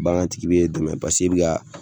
Bagan tigi b'e dɛmɛ pasek'e bɛ ka